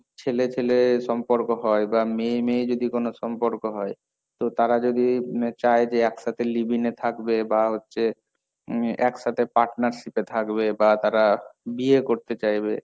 ছেলে ছেলে সম্পর্ক হয়, বা মেয়ে মেয়ে যদি কোনো সম্পর্ক হয়, তো তারা যদি চায় যে একসাথে love-in এ থাকবে, বা হচ্ছে উম একসাথে partnership এ থাকবে, বা তারা বিয়ে করতে চাইবে,